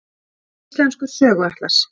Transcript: Íslenskur söguatlas.